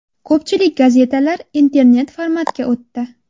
Ko‘pchilik gazetalar internet-formatga o‘tdi.